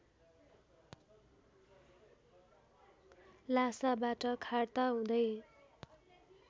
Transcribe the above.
लासाबाट Kharta हुदै